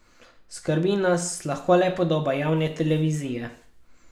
Skrbi nas lahko le podoba javne televizije.